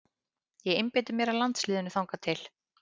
Ég einbeiti mér að landsliðinu þangað til.